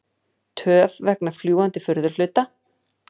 Töf vegna fljúgandi furðuhluta